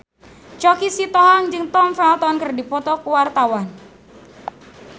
Choky Sitohang jeung Tom Felton keur dipoto ku wartawan